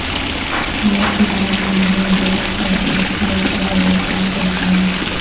یہ چراغ ماحول دوست ہے اور شور کے بغیر کام کرتا ہے